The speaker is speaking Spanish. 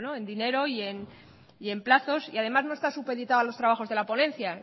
en dinero y en plazos y además no está supeditado a los trabajos de la ponencia